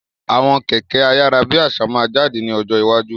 Àwọn Kẹ̀kẹ́ ayárábiàsà máa jáde ní ọjọ́ iwájú.